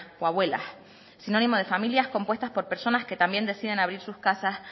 o abuelas es sinónimo de familias compuestas por personas que también decían abrir sus casas